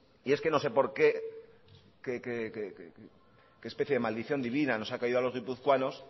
y es que no sé por qué qué especie de maldición divina nos ha caído a los guipuzcoanos